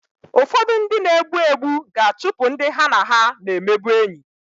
Ụfọdụ ndị na-egbu egbu ga-achụpụ ndị ha na ha na-emebụ enyị